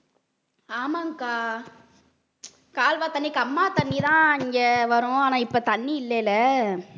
ஆமாங்க்கா கால்வாய் தண்ணிக்கு கம்மா தண்ணி தான் இங்க வரும் ஆனா இப்ப தண்ணி இல்லைல